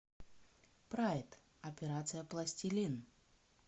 прайд операция пластилин